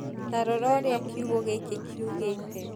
ta rora ũrĩa kiugo gĩkĩ kiugĩte